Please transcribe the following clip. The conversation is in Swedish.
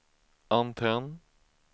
antenn